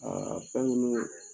fɛn minnu bɛ